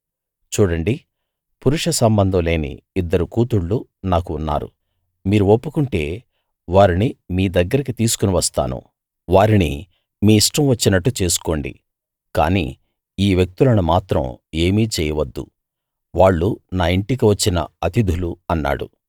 చూడండి పురుష సంబంధం లేని ఇద్దరు కూతుళ్ళు నాకు ఉన్నారు మీరు ఒప్పుకుంటే వారిని మీ దగ్గరికి తీసుకుని వస్తాను వారిని మీ ఇష్టం వచ్చినట్టు చేసుకోండి కానీ ఈ వ్యక్తులను మాత్రం ఏమీ చేయవద్దు వాళ్ళు నా ఇంటికి వచ్చిన అతిధులు అన్నాడు